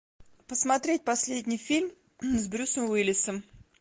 посмотреть последний фильм с брюсом уиллисом